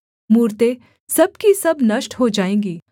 मूरतें सब की सब नष्ट हो जाएँगी